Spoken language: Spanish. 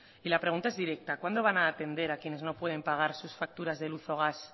y la pregunta es directa cuándo van a atender a quienes no pueden pagar sus facturas de luz o gas